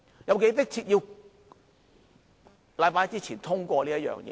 有多迫切要在星期一之前通過呢？